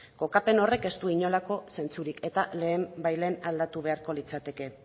kokapen horrek ez du inolako zentzurik eta lehenbailehen aldatu beharko litzateke